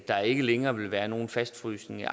der ikke længere vil være nogen fastfrysning af